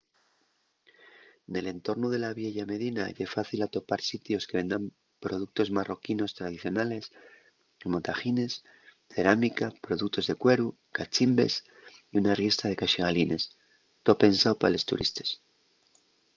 nel entornu de la vieya medina ye fácil atopar sitios que vendan productos marroquinos tradicionales como taḥines cerámica productos de cueru cachimbes y una riestra de caxigalines too pensao pa los turistes